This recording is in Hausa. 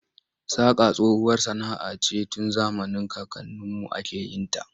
Saƙa tsohuwar sana'a ce tun zamanin kakanninmu ake yin ta.